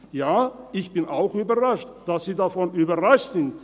Ja, ich bin auch überrascht – dass Sie davon überrascht sind!